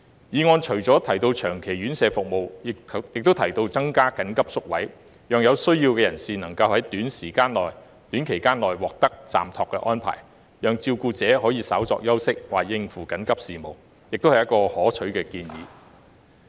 議案除了提到長期院舍服務，亦有提到增加緊急宿位，讓有需要人士能於短時間內獲得暫託安排，讓照顧者可以稍作休息或應付緊急事務，這也是可取的建議。